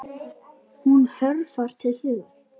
Hún hörfar til hliðar.